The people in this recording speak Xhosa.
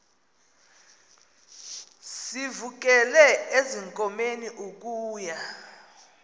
sivukele ezinkomeni ukuya